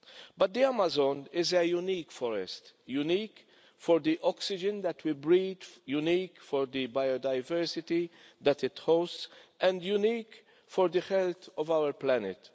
But the Amazon is a unique forest, unique for the oxygen that we breathe, unique for the biodiversity that it hosts and unique for the health of our planet.